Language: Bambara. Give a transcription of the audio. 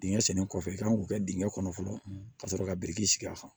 Dingɛ sennen kɔfɛ i kan k'o kɛ dingɛ kɔnɔ fɔlɔ ka sɔrɔ ka biriki sigi a kan